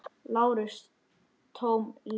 LÁRUS: Tóm lygi!